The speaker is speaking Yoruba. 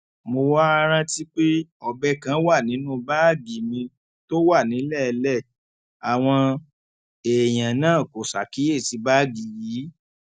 mo wáá rántí pé ọbẹ kan wà nínú báàgì mi tó wà nílẹẹlẹ àwọn èèyàn náà kò ṣàkíyèsí báàgì yìí